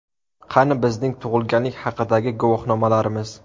Qani bizning tug‘ilganlik haqidagi guvohnomalarimiz?